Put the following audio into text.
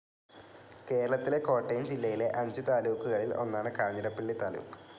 കേരളത്തിലെ കോട്ടയം ജില്ലയിലെ അഞ്ചു താലൂക്കുകളിൽ ഒന്നാണ് കാഞ്ഞിരപ്പള്ളി താലൂക്ക്.